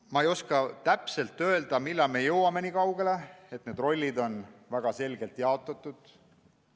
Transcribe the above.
Ma ei oska täpselt öelda, millal me jõuame niikaugele, et need rollid on väga selgelt jaotatud.